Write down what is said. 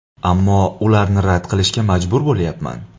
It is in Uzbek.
Ammo ularni rad qilishga majbur bo‘lyapman.